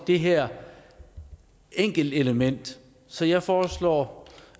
det her enkelte element så jeg foreslår